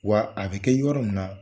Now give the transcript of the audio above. Wa a bɛ kɛ yɔrɔ min na